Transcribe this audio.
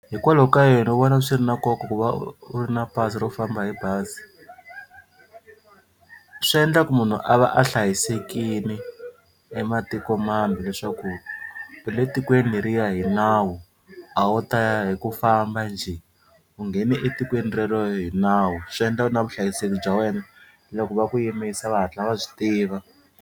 Hikwalaho ka yini u vona swi ri na nkoka ku va u ri na pasi ro famba hi bazi? Swi endla ku munhu a va a hlayisekini ematiko mambe leswaku u le tikweni leriya hi nawu a wo ta ya hi ku famba njhe u nghene etikweni rero hi nawu swi endla na vuhlayiseki bya wena loko va ku yimisa va hatla va swi tiva.